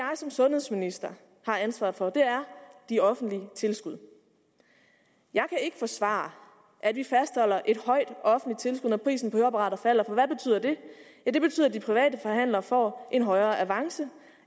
som sundhedsminister har ansvaret for er de offentlige tilskud jeg kan ikke forsvare at vi fastholder et højt offentligt tilskud når prisen på høreapparater falder for hvad betyder det ja det betyder at de private forhandlere får en højere avance